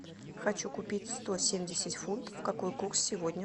хочу купить сто семьдесят фунтов какой курс сегодня